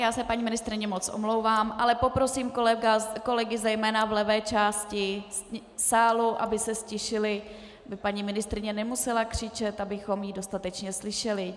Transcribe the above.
Já se, paní ministryně, moc omlouvám, ale poprosím kolegy zejména v levé části sálu, aby se ztišili, aby paní ministryně nemusela křičet, abychom ji dostatečně slyšeli.